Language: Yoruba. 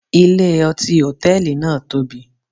Ilé-ọtí hòtẹ́ẹ̀lì náà tóbi